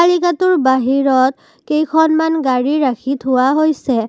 টোৰ বাহিৰত কেইখনমান গাড়ী ৰাখি থোৱা হৈছে।